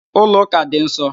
Ụlọ ụka dị nsọ